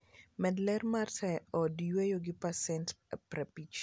Med ler mar taya e od yweyo gi pasent 50.